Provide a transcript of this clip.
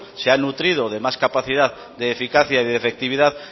se ha nutrido de más capacidad de eficacia y de efectividad